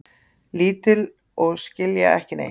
Lítil og skilja ekki neitt.